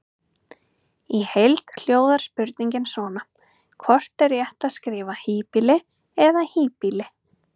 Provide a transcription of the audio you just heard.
Í heild hljóðar spurningin svona: Hvort er rétt að skrifa híbýli eða hýbýli?